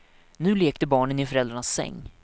Nu lekte barnen i föräldrarnas säng.